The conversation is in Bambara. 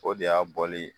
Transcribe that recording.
O de y'a bɔli